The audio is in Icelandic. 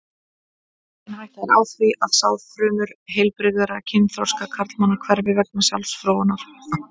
Engin hætta er á því að sáðfrumur heilbrigðra kynþroska karlmanna hverfi vegna sjálfsfróunar.